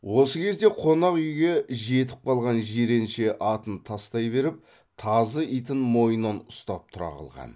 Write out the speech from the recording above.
осы кезде қонақ үйге жетіп қалған жиренше атын тастай беріп тазы итін мойнынан ұстап тұра қалған